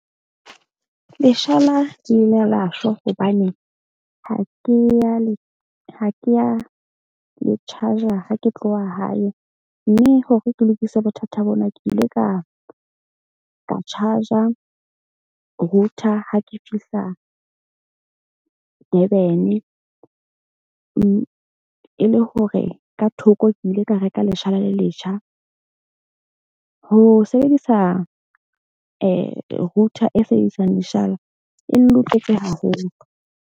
Leshala le ile la shwa hobane ha ke ya le, ha ke ya le charge-a ha ke tloha hae. Mme hore ke lokise bothata bona, ke ile ka charge-a router ha ke fihla Durban-e, e le hore ka thoko ke ile ka reka leshala le letjha. Ho sebedisa router e sebedisang leshala e nloketse haholo.